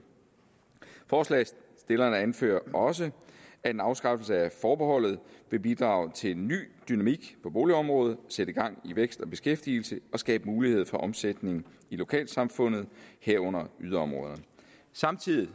forslagsstillerne anfører også at en afskaffelse af forbeholdet vil bidrage til ny dynamik på boligområdet sætte gang i vækst og beskæftigelse og skabe mulighed for omsætning i lokalsamfundet herunder yderområderne samtidig